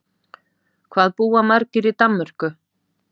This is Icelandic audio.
Hvað búa margir í Danmörku?